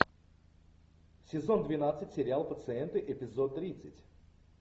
сезон двенадцать сериал пациенты эпизод тридцать